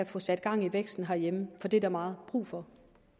få sat gang i væksten herhjemme for det er der meget brug for